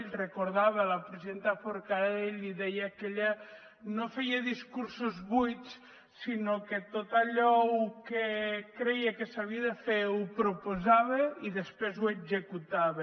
recordava la presidenta forcadell i deia que ella no feia discursos buits sinó que tot allò que creia que s’havia de fer ho proposava i després ho executava